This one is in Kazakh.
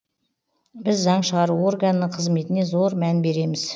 біз заң шығару органының қызметіне зор мән береміз